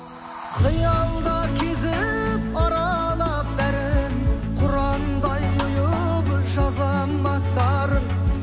қиялда кезіп аралап бәрін құрандай ұйып жазамын аттарын